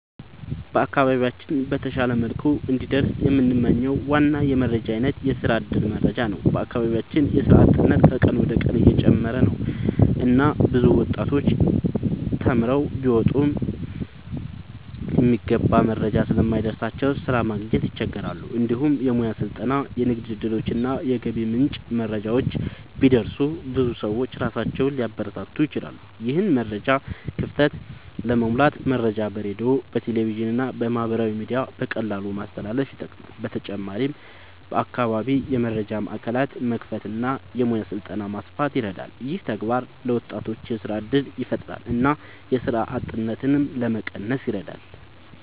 በአካባቢያችን በተሻለ መልኩ እንዲደርስ የምንመኝው ዋና የመረጃ አይነት የስራ እድል መረጃ ነው። በአካባቢያችን የስራ አጥነት ከቀን ወደ ቀን እየጨመረ ነው እና ብዙ ወጣቶች ተማርተው ቢወጡም የሚገባ መረጃ ስለማይደርስላቸው ስራ ማግኘት ይቸገራሉ። እንዲሁም የሙያ ስልጠና፣ የንግድ እድሎች እና የገቢ ምንጮች መረጃ ቢደርስ ብዙ ሰዎች ራሳቸውን ሊያበረታቱ ይችላሉ። ይህን የመረጃ ክፍተት ለመሙላት መረጃ በሬዲዮ፣ በቴሌቪዥን እና በማህበራዊ ሚዲያ በቀላሉ ማስተላለፍ ይጠቅማል። በተጨማሪም በአካባቢ የመረጃ ማዕከላት መክፈት እና የሙያ ስልጠና ማስፋት ይረዳል። ይህ ተግባር ለወጣቶች የስራ እድል ያፈጥራል እና የስራ አጥነትን ለመቀነስ ይረዳል።